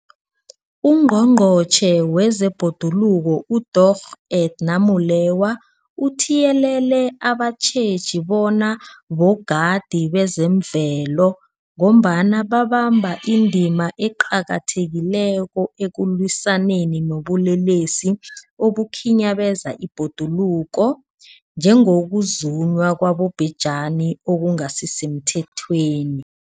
UNgqongqotjhe wezeBhoduluko uDorh Edna Molewa uthiyelele abatjheji bona bogadi bezemvelo, ngombana babamba indima eqakathekileko ekulwisaneni nobulelesi obukhinyabeza ibhoduluko, njengokuzunywa kwabobhejani okungasisemthethweni.